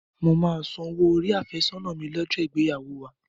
Mo máa san owó orí àfẹ́sọ́nà mi lọ́jọ́ ìgbéyàwó wa